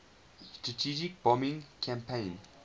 strategic bombing campaign